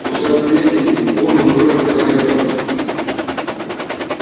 у соседей вон уже загорелось